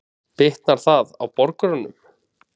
Bitnar það á borgurunum?